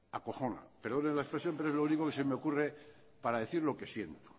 acojona perdonen la expresión pero es lo único que se me ocurre para decir lo que siento